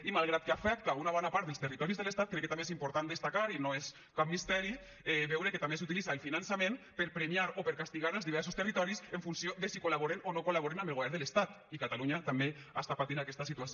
i malgrat que afecta una bona part dels territoris de l’estat crec que també és important destacar i no és cap misteri veure que també s’utilitza el finançament per premiar o per castigar els diversos territoris en funció de si col·laboren o no col·laboren amb el govern de l’estat i catalunya també està patint aquesta situació